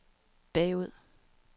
bagud